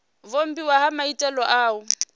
vhumbiwa ha maitele a u